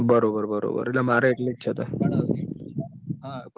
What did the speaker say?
બરોબર બરોબર બરોબર મારે એટલુજ તાન